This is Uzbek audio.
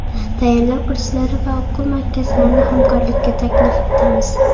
Tayyorlov kurslari va o‘quv markazlarini hamkorlikka taklif etamiz.